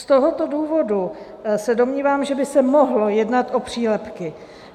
Z tohoto důvodu se domnívám, že by se mohlo jednat o přílepky.